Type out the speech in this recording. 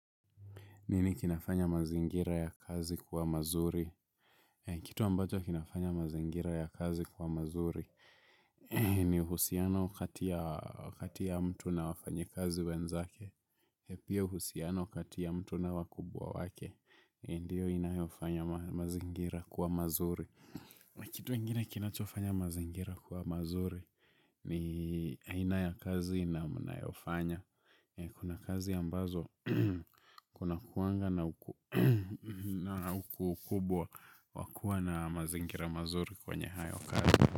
Nini kinafanya mazingira ya kazi kuwa mazuri. Kitu ambacho kinafanya mazingira ya kazi kuwa mazuri. Ni uhusiano kati ya mtu na wafanyikazi wenzake. Pia uhusiano kati ya mtu na wakubwa wake. Ndiyo inayofanya mazingira kuwa mazuri. Kitu ingine kinachofanya mazingira kuwa mazuri ni aina ya kazi mnayofanya. Kuna kazi ambazo kunakuanga na ukubwa wa kuwa na mazingira mazuri kwenye hayo kazi.